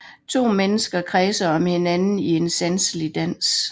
To mennesker kredser om hinanden i en sanselig dans